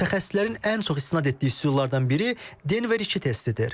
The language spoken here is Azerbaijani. Mütəxəssislərin ən çox istinad etdiyi üsullardan biri Denver 2 testidir.